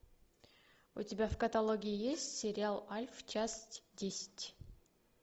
у тебя в каталоге есть сериал альф часть десять